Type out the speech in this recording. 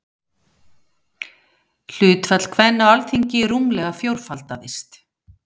Hlutfall kvenna á Alþingi rúmlega fjórfaldaðist.